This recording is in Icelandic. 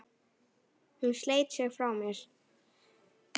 Hún sleit sig frá mér.